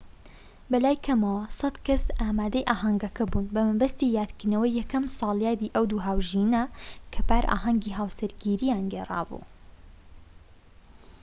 بەلای کەمەوە ١٠٠ کەس ئامادەی ئاهەنگەکە بوون، بە مەبەستی یادکردنەوەی یەکەم ساڵیادی ئەو دوو هاوژینە کە پار ئاهەنگی هاوسەرگیرییان گێڕابوو